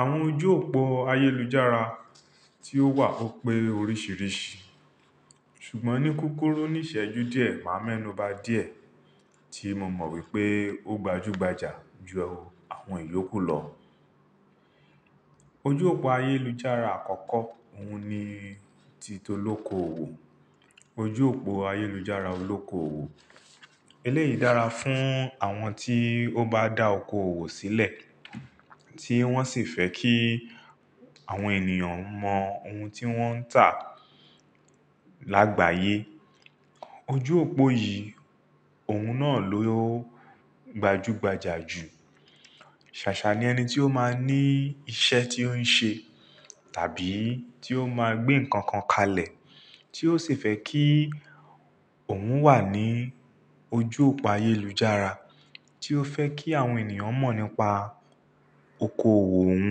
Àwọn ojú òpó ayélujára tí ó wà ó pé loríṣìíríṣìí. Ṣùgbọ́n ní kúkúrù ní ìṣẹ́jú díẹ̀, màá mẹ́nu bà díẹ̀ tí mo mọ̀ wípé ó gbajúgbajà ju àwọn ìyókù lọ. Ojú òpó ayélujára àkọ́kọ́, òun ni ti tolóko òwò. Ojú òpó ayélujára olóko òwò. Eléyìí dára fún àwọn tí ó bá dá oko òwò sílẹ̀, tí wọ́n sì fẹ́ kí àwọn ènìyàn mọ ohun tí wọ́n ń tà lágbàáyé. Ojú òpó yìí, òun náà ló gbajúgbajà jù. Ṣàṣà ni ẹni tí ó máa ní iṣẹ́ tí ó ń ṣe, tàbí tí ó máa gbé nǹkan kan kalẹ̀, tí ó sì fẹ́ kí òun wà ní ojú òpó ayélujára, tí ó fẹ́ kí àwọn ènìyàn mọ̀ nípa oko òwò òun.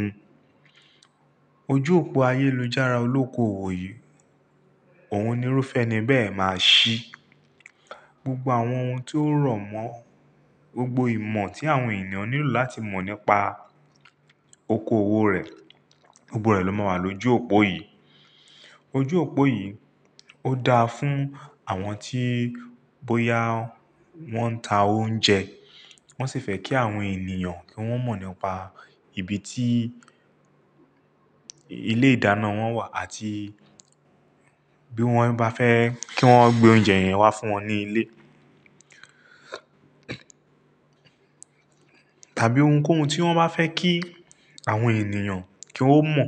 Ojú òpó ayélujára olókoòwò yìí, òun ni irúfẹ́ ni bẹ́ẹ̀ máa ṣí. Gbogbo àwọn ohun tí ó rọ̀ mọ́, gbogbo ìmọ̀ tí àwọn ènìyàn nílò láti mọ̀ nípa oko òwò rẹ̀, gbogbo rẹ̀ ló máa wà lójú òpó yìí. Ojú òpó yìí ó dáa fún àwọn tí bóyá wọ́n ń ta oúnjẹ, wọ́n sì fẹ́ kí àwọn ènìyàn kí wọ́n mọ̀ nípa ibi tí ilé ìdáná wọn wà àti bí wọ́n bá fẹ́ kí wọ́n gbé oúnjẹ yẹn wá fún wọn ní ilé. Tàbí ohunkóhun tí wọ́n bá fẹ́ kí àwọn ènìyàn kí ó mọ̀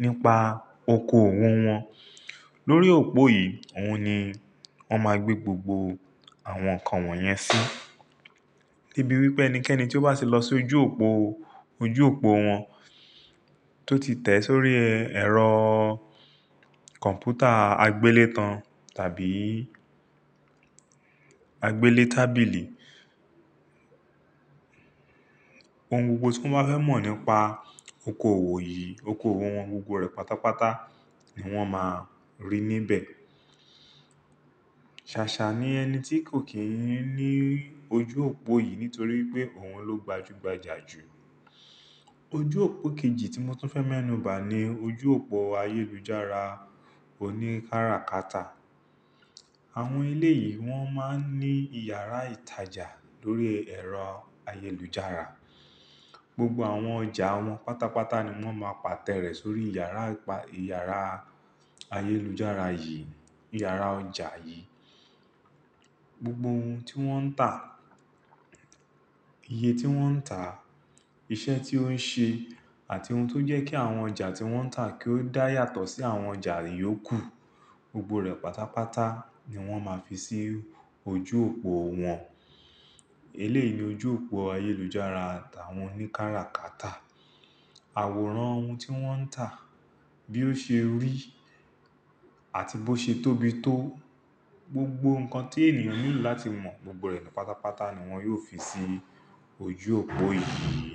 nípa oko òwò wọn. Lórí òpó yìí, òun ni wọ́n máa gbé gbogbo àwọn nǹkan wọ́n yẹn sí. Debíi wípé ẹnikẹ́ni tí ó bá ṣe lọ sí ojú òpó, ojú òpó wọn tó ti tẹ̀ sórí ẹ̀rọ Ojú òpó ayélujára olóko òwò yìí, òun ni irúfẹ́ eni bẹ́ẹ̀ máa ṣí. Gbogbo ohun tí won ba fe mọ́, gbogbo ìmọ̀ tí àwọn ènìyàn nílò láti mọ̀ nípa oko òwò rẹ̀, gbogbo rẹ̀ ló máa wà lójú òpó yìí. Sasa ni eni ti ko kin n lo oju opo yii, nitori oun lo gbaju gbaja ju oju opo keji ti mo fe me'nu ba ni, oju opo ayelujara kara kata awon eleyi won ma n ni iyara itaja, lori ero ayelujara Gbogbo àwọn ọjà wọn pátápátá ni wọ́n máa pàtẹ rẹ̀ sórí yàrá pa-- yàrá ayélujára yìí, yàrá ọjà yìí. Gbogbo ohun tí wọ́n ń tà, iye tí wọ́n ń tà, iṣẹ́ tí ó ń ṣe àti ohun tó jẹ́ kí àwọn ọjà tí wọ́n ń tà kí ó dá yàtọ̀ sí àwọn ọjà íyókù, gbogbo rẹ̀ pátápátá ni wọ́n máa fi sí ojú òpó wọn. Eléyìí ni ojú òpó ayélujára t'àwọn oníkáràkátà. Àwòrán ohun tí wọ́n ń tà, bí ó ṣe rí àti bó ṣe tóbi tó, gbogbo nǹkan tí ènìyàn nílò láti mọ̀ gbogbo rẹ̀ pátápátá ni wọn yóò fi sí ojú òpó yìí.